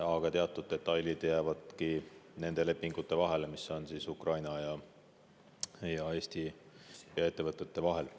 Aga teatud detailid jäävadki ainult nendesse lepingutesse, mis on Ukraina ja Eesti ettevõtete vahel.